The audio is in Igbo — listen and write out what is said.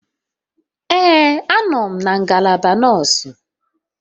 Ee a nọ m na ngalaba nọọsụ.